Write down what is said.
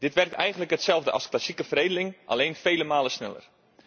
Dit werkt eigenlijk hetzelfde als klassieke veredeling, alleen vele malen sneller.